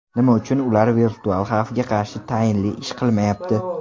Nima uchun ular virtual xavfga qarshi tayinli ish qilmayapti?